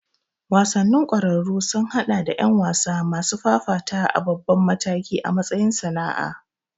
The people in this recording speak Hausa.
Wasannin ƙwararru sun haɗa da ƴan wasa masu fafatawa a babban mataki a matsayin sana'a.